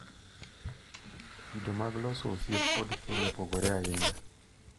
Kido mag loso osiep kod keny opogore ahinya.